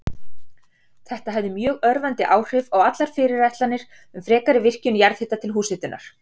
Þetta hafði mjög örvandi áhrif á allar fyrirætlanir um frekari virkjun jarðhita til húshitunar.